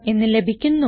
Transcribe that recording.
എന്ന് ലഭിക്കുന്നു